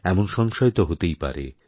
এমনসংশয় তো হতেই পারে